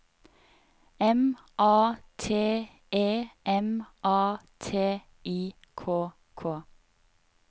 M A T E M A T I K K